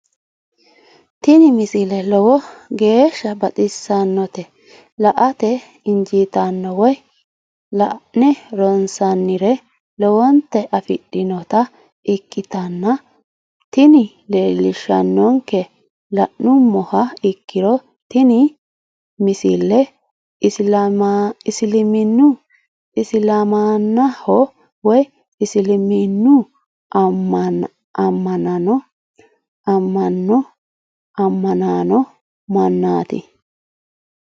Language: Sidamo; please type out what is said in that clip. tini misile lowo geeshsha baxissannote la"ate injiitanno woy la'ne ronsannire lowote afidhinota ikkitanna tini leellishshannonkeri la'nummoha ikkiro tini misile isilaamaho woy isiliminnu amma'no ammanino mannaati.